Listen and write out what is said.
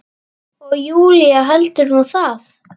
Og Júlía heldur nú það!